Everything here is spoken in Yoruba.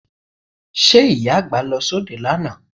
Ṣe Ìyá àgbà lọ sóde lánàá?